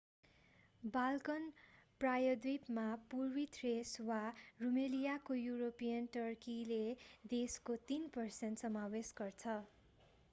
Balkan प्रायद्वीपमा पूर्वी Thrace वा रुमेलियाको युरोपियन टर्कीले देशको 3% समावेश गर्छ